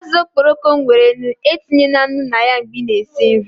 Azụ okporoko nwere nnu, co etinyela nnu na ya mgbe ị na-esi nri